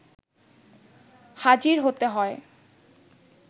হাজির হতে হয়